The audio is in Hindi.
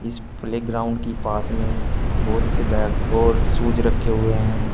इस प्ले ग्राउंड की पास में बहोत से बैग और शूज रखे हुए हैं।